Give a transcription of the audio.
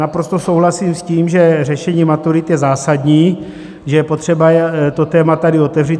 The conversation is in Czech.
Naprosto souhlasím s tím, že řešení maturit je zásadní, že je potřeba to téma tady otevřít.